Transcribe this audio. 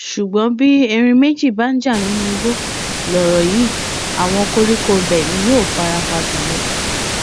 ṣùgbọn bí erin méjì bá ń jà nínú igbó lọrọ yìí àwọn koríko ibẹ ni yóò fara pa jù lọ